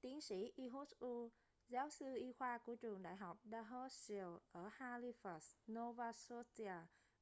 tiến sĩ ehud ur giáo sư y khoa của trường đại học dalhousie ở halifax nova scotia